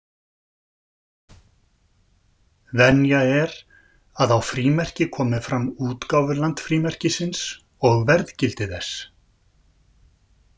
Venja er að á frímerki komi fram útgáfuland frímerkisins og verðgildi þess.